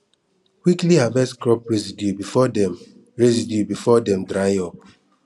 quickly harvest crop residue before dem residue before dem dry up